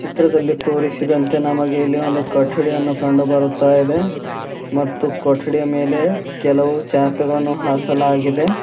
ಚಿತ್ರದಲ್ಲಿ ತೋರಿಸಿದಂತೆ ನಮಗೆ ಇಲ್ಲಿ ಒಂದು ಕೊಠಡಿಯನ್ನು ಕಂಡು ಬರುತ್ತಾ ಇದೆ ಮತ್ತು ಕೊಟ್ಟಡಿಯ ಮೇಲೆ ಕೆಲವು ಚಾಪೆಗಳನ್ನು ಆಸಲಾಗಿದೆ.